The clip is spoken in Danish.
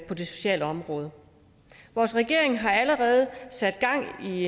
på det sociale område vores regering har allerede sat gang i